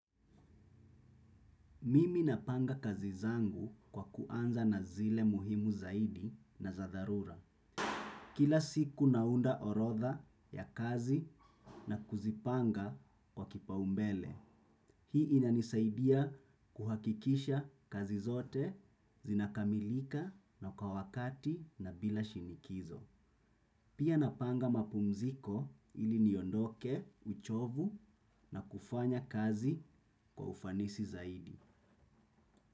Mimi napanga kazi zangu kwa kuanza na zile muhimu zaidi na za dharura. Kila siku naunda orodha ya kazi na kuzipanga kwa kipaumbele. Hii inanisaidia kuhakikisha kazi zote zinakamilika na kwa wakati na bila shinikizo. Pia napanga mapumziko ili niondoke, uchovu na kufanya kazi kwa ufanisi zaidi.